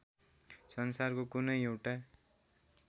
संसारको कुनै एउटा